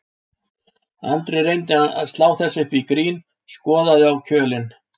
Andri reyndi að slá þessu upp í grín, skoðaði á kjölinn